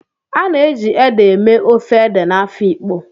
A na-eji ede eme ofe ede na Afikpo